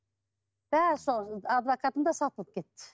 бәрі соған адвокатым да сатылып кетті